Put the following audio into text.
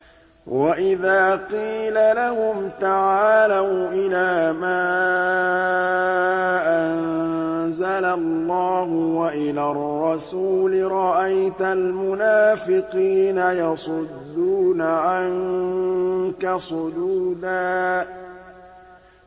وَإِذَا قِيلَ لَهُمْ تَعَالَوْا إِلَىٰ مَا أَنزَلَ اللَّهُ وَإِلَى الرَّسُولِ رَأَيْتَ الْمُنَافِقِينَ يَصُدُّونَ عَنكَ صُدُودًا